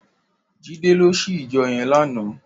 Jide lò sí ijò yèn làná